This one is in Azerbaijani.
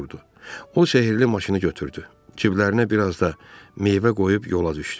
O sehrli maşını götürdü, ciblərinə biraz da meyvə qoyub yola düşdü.